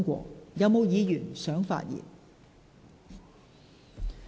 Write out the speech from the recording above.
是否有議員想發言？